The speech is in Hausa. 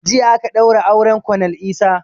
Jiya aka ɗaura auren konel Isah